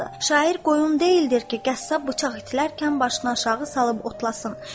Şair qoyun deyildir ki, qəssab bıçaq itilərkən başını aşağı salıb otlasın.